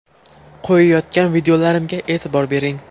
Qo‘yayotgan videolarimga e’tibor bering!